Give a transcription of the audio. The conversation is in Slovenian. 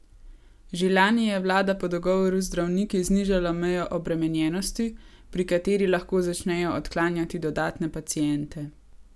Že lani je vlada po dogovoru z zdravniki znižala mejo obremenjenosti, pri kateri lahko začnejo odklanjati dodatne paciente.